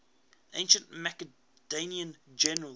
ancient macedonian generals